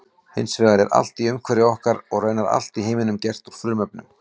Hins vegar er allt í umhverfi okkar og raunar allt í heiminum gert úr frumefnum.